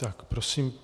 Tak, prosím.